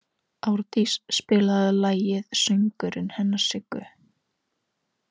Árdís, spilaðu lagið „Söngurinn hennar Siggu“.